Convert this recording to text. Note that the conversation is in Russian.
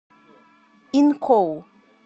инкоу